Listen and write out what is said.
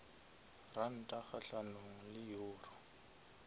ranta kgahlanong le euro